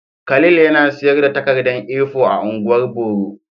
Khalil yana sayar da takarda A4 a ungwan boro.